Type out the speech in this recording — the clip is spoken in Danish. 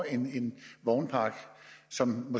en vognpark som